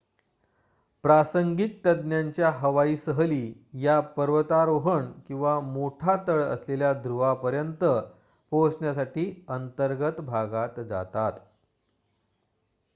प्रासंगिक तज्ञांच्या हवाई सहली या पर्वतारोहण किंवा मोठा तळ असलेल्या ध्रुवापर्यंत पोहोचण्यासाठी अंतर्गत भागात जातात